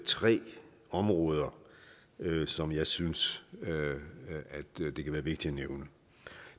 tre områder som jeg synes det kan være vigtigt at nævne